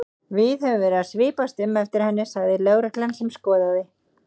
Við höfum verið að svipast um eftir henni sagði lögreglan sem skoðaði